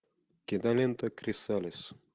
кинолента крисалис